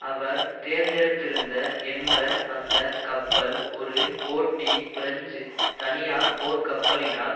அவர் தேர்ந்தெடுத்திருந்த என்ற அந்த கப்பல் ஒரு போட்டி பிரெஞ்சு தனியார் போர்கப்பலினால்